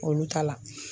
Olu ta la